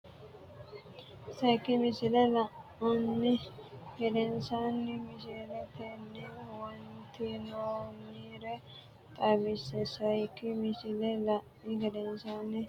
Sayikki misile la’ini gedensaanni misiletenni huwattinoonnire xaw- isse Sayikki misile la’ini gedensaanni misiletenni huwattinoonnire xaw- isse Sayikki misile la’ini gedensaanni.